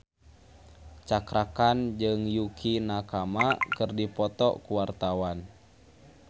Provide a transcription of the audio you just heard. Cakra Khan jeung Yukie Nakama keur dipoto ku wartawan